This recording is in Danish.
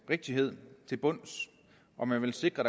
rigtighed til bunds og man vil sikre